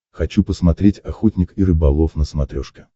хочу посмотреть охотник и рыболов на смотрешке